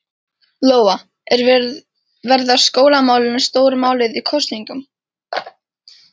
Lóa: En verða skólamálin stóra málið í kosningunum?